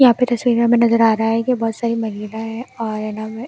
यहां पे तस्वीर में हमें नजर आ रहा है कि बहुत सारी हैं और--